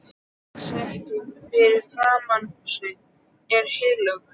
Gangstéttin fyrir framan húsið er hellulögð.